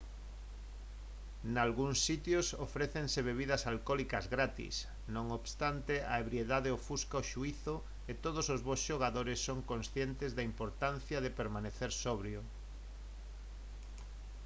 nalgúns sitios ofrécense bebidas alcólicas gratis non obstante a ebriedade ofusca o xuízo e todos os bos xogadores son conscientes da importancia de permanecer sobrio